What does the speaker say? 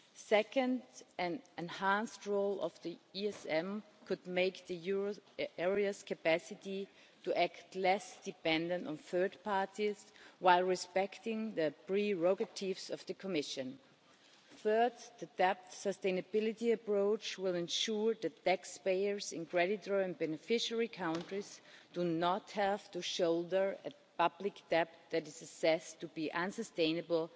Second, an enhanced role for the ESM could make the euro area's capacity to act less dependent on third parties, while respecting the prerogatives of the Commission. Third, the debt sustainability approach will ensure that taxpayers in creditor and beneficiary countries do not have to shoulder a public debt that is assessed to be unsustainable